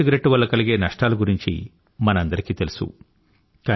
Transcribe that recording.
మామూలు సిగరెట్టు వల్ల కలిగే నష్టాల గురించి మనందరికీ తెలుసు